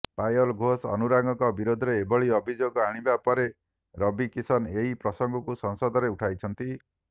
ପାୟଲ ଘୋଷ ଅନୁରାଗଙ୍କ ବିରୋଧରେ ଏଭଳି ଅଭିଯୋଗ ଆଣିବା ପରେ ରବି କିଶନ ଏହି ପ୍ରସଙ୍ଗକୁ ସଂସଦରେ ଉଠାଇଛନ୍ତି